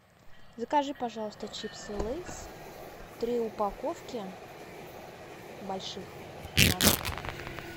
закажи пожалуйста чипсы лейс три упаковки больших на дом